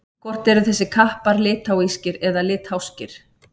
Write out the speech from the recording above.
Hvort eru þessir kappar litháískir eða litháskir?